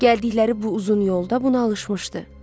Gəldikləri bu uzun yolda buna alışmışdı.